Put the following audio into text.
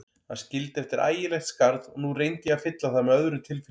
Hann skildi eftir ægilegt skarð og nú reyndi ég að fylla það með öðrum tilfinningum.